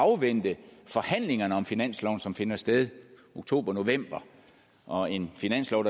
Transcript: afvente forhandlingerne om finansloven som finder sted i oktobernovember og en finanslov